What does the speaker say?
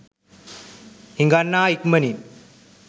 හිඟන්නා ඉක්මනින්